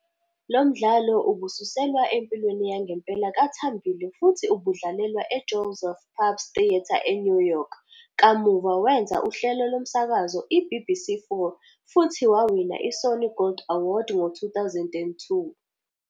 Lo mdlalo ubususelwa empilweni yangempela kaThambile futhi ubudlalelwa eJoseph Paps Theatre eNew York. Kamuva wenza uhlelo lomsakazo i-BBC 4, futhi wawina iSony Gold Award ngo-2002.